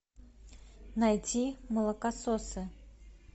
найти молокососы